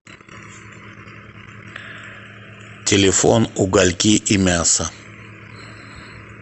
телефон угольки и мясо